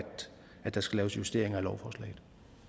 der skal laves justeringer af lovforslaget